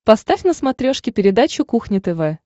поставь на смотрешке передачу кухня тв